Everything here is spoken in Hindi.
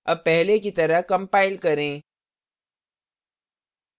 अब पहले की तरह compile करें